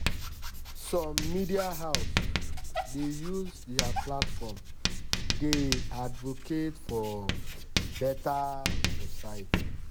some media house dey use their platform dey advocate for better society.